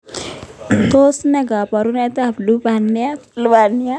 Tos ne kaborunoikab lubaniat